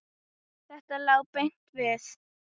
Þetta lá beint við.